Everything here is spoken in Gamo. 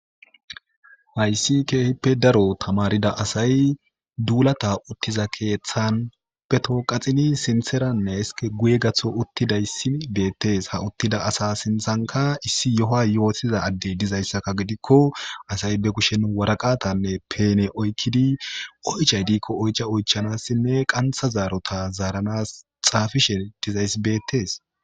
Hayssi keehippe daro tamarida asay duulata uttiza keeththan petoo qaxini sintheranneske guye gatho uttidayssi beettees ha uttida asa sinthanka issi yoho yootiza addey dizayssaka gidikko asay be kushen waraqatanne peene oykkidi oychay diikko oyca oychanassinne qantha zaarota zaaranas xaafishe dizayss beettees.